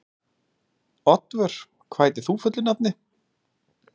Oddvör, hvað heitir þú fullu nafni?